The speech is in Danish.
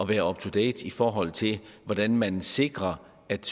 være up to date i forhold til hvordan man sikrer at